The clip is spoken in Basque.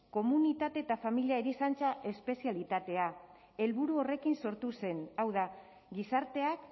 komunitate eta familia erizaintza espezialitatea helburu horrekin sortu zen hau da gizarteak